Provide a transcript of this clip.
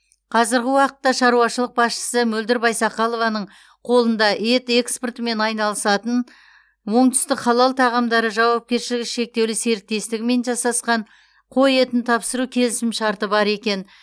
қазіргі уақытта шаруашылық басшысы мөлдір байсақалованың қолында ет экспортымен айналысатын оңтүстік халал тағамдары жауапкершілігі шектеулі серіктестігімен жасасқан қой етін тапсыру келісімшарты бар екен